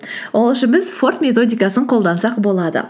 ол үшін біз форд методикасын қолдансақ болады